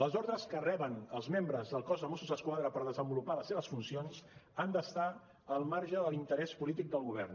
les ordres que reben els membres del cos de mossos d’esquadra per desenvolupar les seves funcions han d’estar al marge de l’interès polític del govern